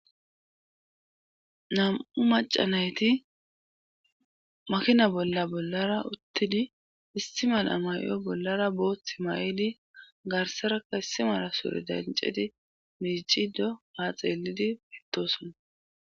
nam7u macanayti makina bolla bollara uttidi istimala may7o bollara booth ma7eli garsarakka issimara sure dancedi miicido haa xeelidi pittosona